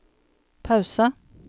pause